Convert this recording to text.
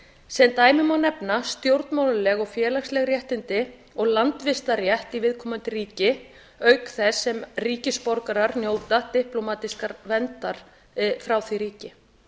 sem dæmi má nefna stjórnmálaleg og félagsleg réttindi og landvistarrétt í viðkomandi ríki auk þess sem ríkisborgarar njóta diplómatískrar verndar frá því ríki